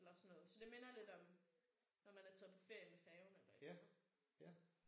Eller sådan noget. Så det minder lidt om når man er taget på ferie med færgen eller et eller andet